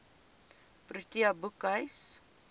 protea boekhuis